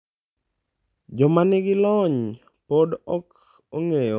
Joma nigi lony pod ok ong’eyo kama ng’anjono wuokie kod gima omiyo otimo kamano.